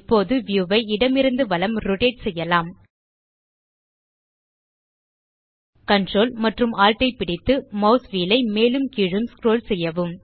இப்போது வியூ ஐ இடமிருந்து வலம் ரோட்டேட் செய்யலாம் ctrl மற்றும் alt ஐ பிடித்து மாஸ் வீல் ஐ மேலும் கீழும் ஸ்க்ரோல் செய்யவும்